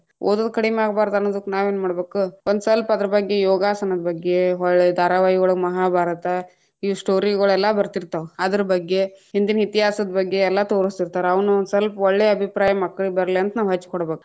ಓದೊದು ಕಡಿಮ್ಯಾಗಬಾರದ ಅನ್ನೋದಕ್ಕ್‌ ನಾವೇನ್‌ ಮಾಡಬೇಕು, ಒಂದ್ ಸ್ವಲ್ಪ ಅದರ ಬಗ್ಗೆ ಯೋಗಾಸನದ ಬಗ್ಗೆ ಹೊಳ್ಳಿ ಧಾರಾವಾಹಿ ಒಳಗ ಮಹಾಭಾರತ, ಈ story ಗುಳೆಲ್ಲಾ ಬತೀ೯ತಾ೯ವ್, ಅದರ ಬಗ್ಗೆ ಹಿಂದಿನ ಇತಿಹಾಸದ್‌ ಬಗ್ಗೆ ಎಲ್ಲಾ ತೋರಸ್ತೀತಾ೯ರ ಅವುನ್ನ ಒಂದ ಸ್ವಲ್ಪ ಒಳ್ಳೆಯ ಅಭಿಪ್ರಾಯ ಮಕ್ಕಳಿಗ್‌ ಬರ್ಲಿ ಅಂತ ನಾವ್‌ ಹಚ್ಚಕೊಡಬೇಕ.